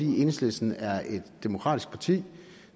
enhedslisten er et demokratisk parti